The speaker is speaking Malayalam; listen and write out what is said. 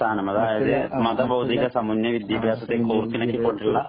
സ്ഥാനം അതായത് മത ബൗദ്ധിക സമുന്നയ വിദ്യഭ്യാസത്തെയും കോര്‍ത്തിണക്കി കൊണ്ടുള്ള